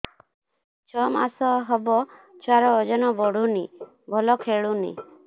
ଛଅ ମାସ ହବ ଛୁଆର ଓଜନ ବଢୁନି ଭଲ ଖେଳୁନି